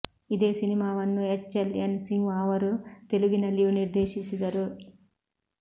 ಇದೇ ಸಿನಿಮಾವನ್ನು H L N Simha ಅವರು ತೆಲುಗಿನಲ್ಲಿಯೂ ನಿರ್ದೇಶಿಸಿದರು